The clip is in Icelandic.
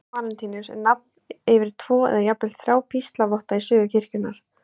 Heilagur Valentínus er nafn yfir tvo, eða jafnvel þrjá, píslarvotta í sögu kirkjunnar.